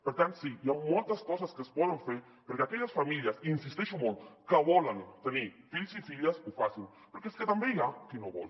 per tant sí hi han moltes coses que es poden fer perquè aquelles famílies hi insisteixo molt que volen tenir fills i filles ho facin perquè és que també hi ha qui no vol